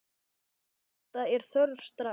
Úrbóta er þörf strax.